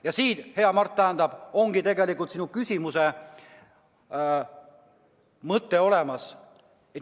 Ja siin, hea Mart, ongi tegelikult sinu küsimuse vastus olemas.